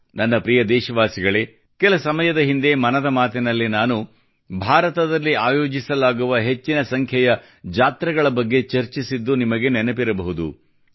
ನನ್ನ ಪ್ರಿಯ ದೇಶವಾಸಿಗಳೇ ಕೆಲ ಸಮಯದ ಹಿಂದೆ ಮನದ ಮಾತಿನಲ್ಲಿ ನಾನು ಭಾರತದಲ್ಲಿ ಆಯೋಜಿಸಲಾಗುವ ಹೆಚ್ಚಿನ ಸಂಖ್ಯೆಯ ಜಾತ್ರೆಗಳ ಬಗ್ಗೆ ಚರ್ಚಿಸಿದ್ದು ನಿಮಗೆ ನೆನಪಿರಬಹುದು